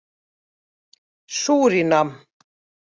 Súrínam